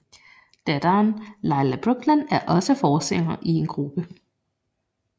Datteren Layla Brooklyn er også forsanger i en gruppe